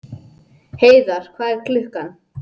Heiðar, hvað er klukkan?